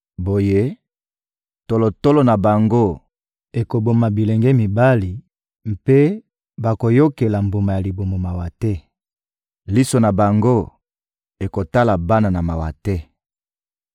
Boye, tolotolo na bango ekoboma bilenge mibali mpe bakoyokela mbuma ya libumu mawa te: liso na bango ekotala bana na mawa te.